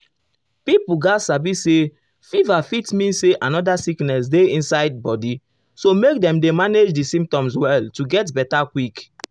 pipo gatz sabi say fever fit mean say another sickness dey hide inside body so make dem dem manage di symptoms well to get beta quick.